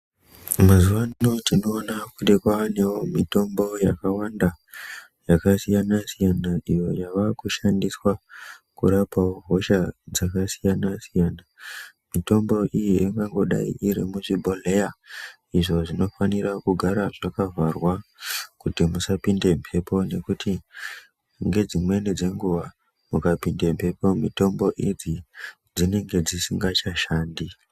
Mazuwa ano tinoone kuti kwaanewo mitombo yakawanda yakasiyanasiyana, iyo yava kushandiswa kurapawo hosha dzakasiyana-siyana mitombo iyi ingangodai iri muzvibhohlera izvo zvinofanira kugara zvakavharwa kuti musapinde mhepo nekuti ngedzimeni dzenguwa mukapinde mhepo mitombo idzi dzinenge dzisisasashandi.